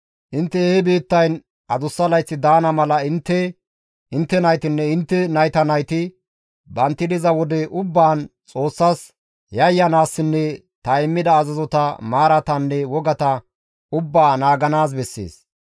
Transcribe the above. Intte he biittayn adussa layth daana mala intte, intte naytinne intte nayta nayti bantti diza wode ubbaan Xoossas yayyanaassinne ta immida azazota, maaratanne wogata ubbaa naaganaas bessees.